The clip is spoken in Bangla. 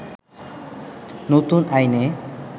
নতুন আইনে